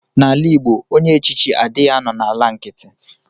Na ala igbo ọnye echichi adighi anọ na ala nkiti.